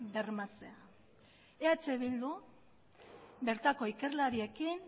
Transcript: bermatzea eh bildu bertako ikerlariekin